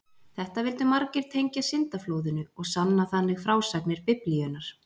Þetta vildu margir tengja syndaflóðinu og sanna þannig frásagnir Biblíunnar.